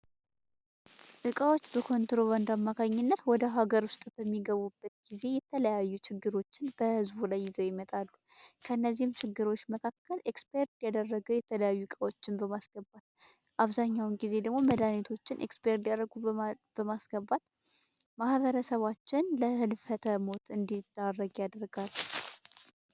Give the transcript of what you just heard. እቃዎች በኮንትሮባንድ አማካኝነት ወደ ሀገር ውስጥ በሚገቡበት ጊዜ የተለያዩ ችግሮችን በህዝቡ ላይ ይዞ ይመጣሉ። ከነዚህም ችግሮች መካከል ኤክስፓየርድ ያደረገው የተለያዩ እቃዎችን በማስገባት አብዛኛውን ጊዜ ደግሞ መድኃኒቶችን ኤክስፓየርድ ይስደረጉ በማስገባት ማበረሰባችን ለህልፈተ ሞት እንዲዳረግ ያደርጋል ።